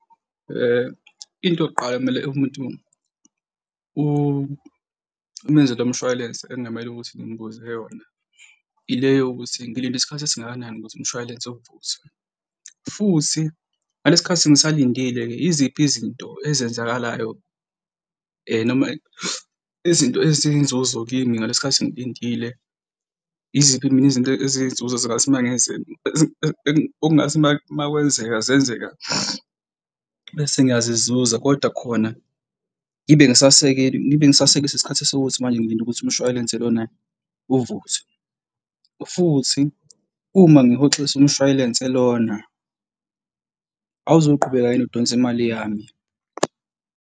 Into yokuqala ekumele umuntu uma enze lo mshwayilense ekungamele ukuthi ngimbuze yona, ile yokuthi ngilinde isikhathi esingakanani ukuze umshwalense uvuthwe? Futhi ngalesi khathi ngisalindile-ke yiziphi izinto ezenzakalayo noma izinto eziyinzuzo kimi ngalesi khathi ngilindile? Yiziphi mina izinto eziyinzuzo ezingathi uma okungase uma kwenzeka zenzeka bese ngiyazizuza kodwa khona ngibe ngisasekele ngibe ngisaselelwe isikhathi esiwukuthi manje ngilinde ukuthi umshwalense lona uvuthwe. Futhi uma ngihoxisa umshwayelense lona awuzuqhubeka yini udonse imali yami?